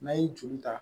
N'a ye joli ta